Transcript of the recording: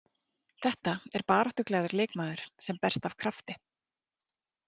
Þetta er baráttuglaður leikmaður sem berst af krafti.